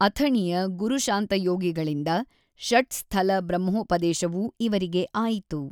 ಅಥಣಿಯ ಗುರುಶಾಂತಯೋಗಿಗಳಿಂದ ಷಟ್ ಸ್ಥಲ ಬ್ರಹ್ಮೋಪದೇಶವೂ ಇವರಿಗೆ ಆಯಿತು.